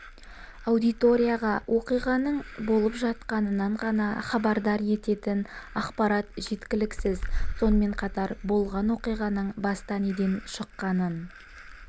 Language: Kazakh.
аудиторияға оқиғаның болып жатқанынан ғана хабардар ететін ақпарат жеткіліксіз сонымен қатар болған окиғаның баста неден шыққанын